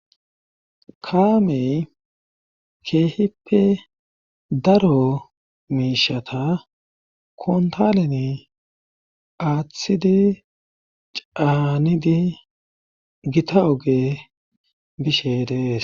Kaamey keehippe daro miishata kontaleni aaththidi caanidi gita oge bishe dees.